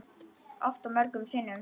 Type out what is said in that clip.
Oft og mörgum sinnum.